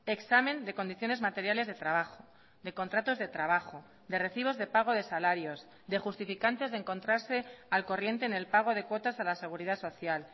examen de condiciones materiales de trabajo de contratos de trabajo de recibos de pago de salarios de justificantes de encontrarse al corriente en el pago de cuotas a la seguridad social